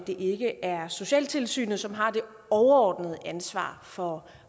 det ikke er socialtilsynet som har det overordnede ansvar for